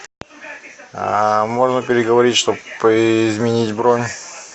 можно переговорить чтобы изменить бронь